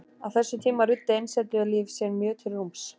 Á þessum tíma ruddi einsetulíf sér mjög til rúms.